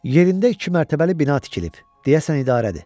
Yerində iki mərtəbəli bina tikilib, deyəsən idarədir.